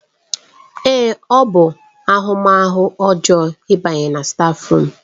Èé! ọ bụ ahụmahụ ọjọọ ịbanye na stáfruum.